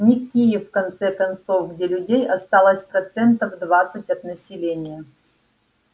не киев в конце концов где людей осталось процентов двадцать от населения